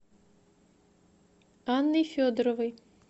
анной федоровой